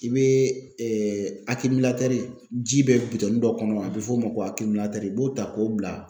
I bɛ ji bɛ bitɔnni dɔ kɔnɔ a bɛ f'o ma ko i b'o ta k'o bila ,